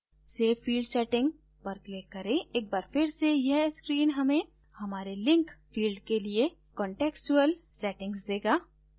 save field setting पर click करें एक बार फिर से यह screen हमें हमारे link field के लिए contextual settings देगा